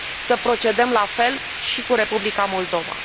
Să procedăm la fel și cu Republica Moldova.